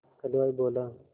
हलवाई बोला